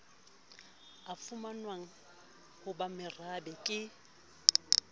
a fumanwang ho bomarabe ke